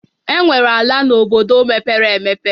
Enwere ala na obodo mepere emepe